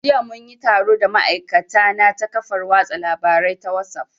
Jiya mun yi taro da ma'aikatana ta kafar watsa labarai ta wasuf